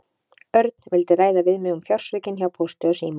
Örn vildi ræða við mig um fjársvikin hjá Pósti og síma.